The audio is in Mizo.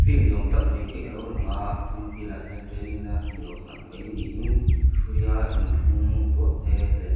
field ni awm tak mai hi a lo lang a tin field ah hian training na ni awm tak mai niin hruia inthlung duahte leh--